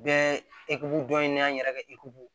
Bɛɛ dɔ ye an yɛrɛ ka